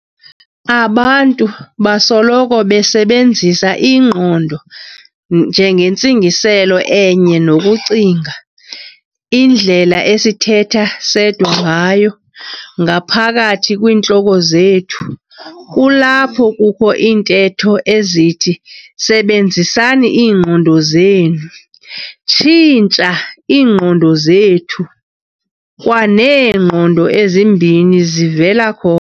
Abantu basoloko besebenzisa "ingqondo" njengentsingiselo enye nokucinga- indlela esithetha sedwa ngayo "ngaphakathi kwiintloko zethu". Kulapho kukho iintetho ezithi "sebenzisani iingqondo zenu.", "tshintsha iingqondo zethu" kwaneengqondo ezimbini" zivela kho.